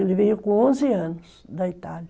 Ele veio com onze anos da Itália.